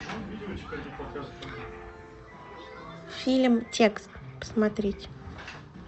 фильм текст посмотреть